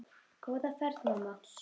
Góða ferð mamma.